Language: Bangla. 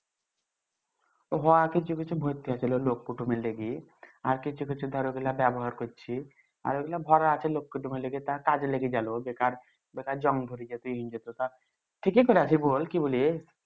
হ কিছু কিছু আর কিছু কিছু ধর ব্যবহার করছি আর ঐগুলা ভরা আছে কাজে লেগে গেলো বেকার বেকার জম ধরি ঠিকে করে আছি বল কি বলি